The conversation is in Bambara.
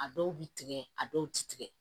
A dɔw bi tigɛ a dɔw ti tigɛ